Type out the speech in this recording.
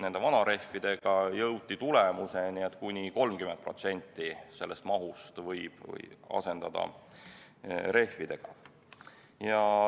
Vanarehvide puhul jõuti tulemuseni, et kuni 30% mahust võib asendada rehvidega.